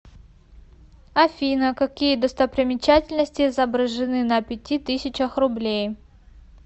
афина какие достопримечательности изображены на пяти тысячах рублей